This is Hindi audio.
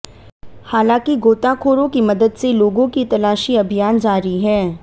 हालांकि गोताखोरों की मदद से लोगों की तलाशी अभियान जारी है